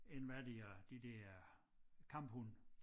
En hvad de hedder de der kamphunde